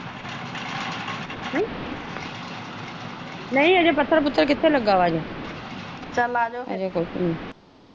ਹਮ ਨਹੀਂ ਹਜੇ ਪੱਥਰ ਪੁਥਰ ਕਿਥੇ ਲੱਗਾ ਵਾ ਹਜੇ ਚੱਲ ਆਜ, ਅਜੇ ਕੁੱਛ ਵੀ ਨੀ।